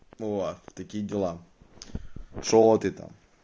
вот такие дела что ты там